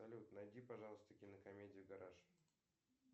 салют найди пожалуйста кинокомедию гараж